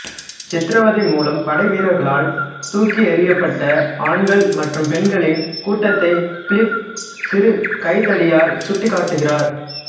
சித்திரவதை மூலம் படைவீரர்களால் தூக்கி எறியப்பட்ட ஆண்கள் மற்றும் பெண்களின் கூட்டத்தை பிலிப் சிறு கைத்தடியால் சுட்டிக் காட்டுகிறார்